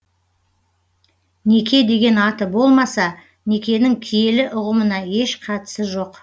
неке деген аты болмаса некенің киелі ұғымына еш қатысы жоқ